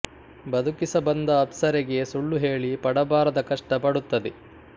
ಬದುಕಿಸ ಬಂದ ಅಪ್ಸರೆಗೆ ಸುಳ್ಳು ಹೇಳಿ ಪಡಬಾರದ ಕಷ್ಟ ಪಡುತ್ತದೆ